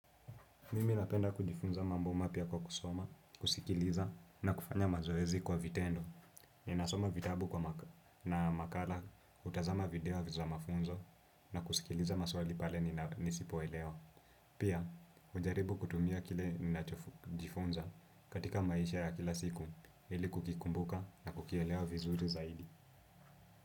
Mimi napenda kujifunza mambo mapya kwa kusoma, kusikiliza na kufanya mazoezi kwa vitendo. Ninasoma vitabu na makala, hutazama video za mafunzo na kusikiliza maswali pale nisipoelewa. Pia, hujaribu kutumia kile ninachojifunza katika maisha ya kila siku, ili kukikumbuka na kukielewa vizuri zaidi.